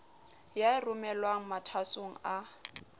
ya e romelwang mathwasong a